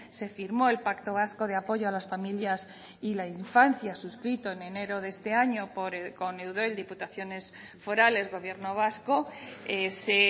se firmó el pacto vasco de apoyo a las familias y la infancia suscrito en enero de este año con eudel diputaciones forales gobierno vasco se